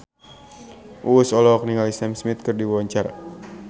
Uus olohok ningali Sam Smith keur diwawancara